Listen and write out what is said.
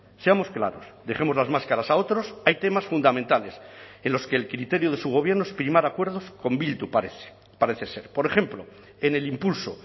seamos claros dejemos las máscaras a otros hay temas fundamentales en los que el criterio de su gobierno es primar acuerdos con bildu parece parece ser por ejemplo en el impulso